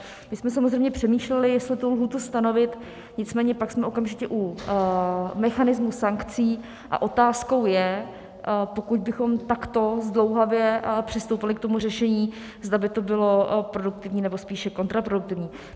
My jsme samozřejmě přemýšleli, jestli tu lhůtu stanovit, nicméně pak jsme okamžitě u mechanismů sankcí a otázkou je, pokud bychom takto zdlouhavě přistoupili k tomu řešení, zda by to bylo produktivní, nebo spíše kontraproduktivní.